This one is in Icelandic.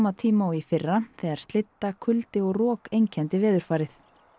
tíma og í fyrra þegar kuldi og rok einkenndi veðurfarið